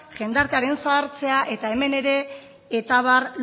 jendartearen zahartzea eta hemen ere eta abar